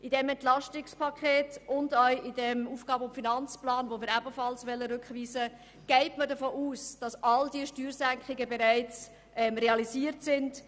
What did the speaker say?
In diesem EP 2018 und auch in diesem AFP, den wir ebenfalls zurückweisen wollen, geht man davon aus, dass alle diese Steuersenkungen bereits realisiert sind.